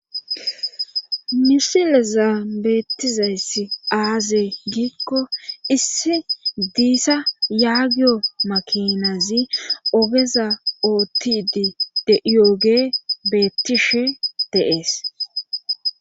misileza beettizayssi aazee giikko issi diissa yaagiyo makinazi obeza oottidi deyooge beettishe deees